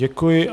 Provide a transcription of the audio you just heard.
Děkuji.